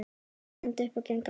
Ég stend upp og geng af stað.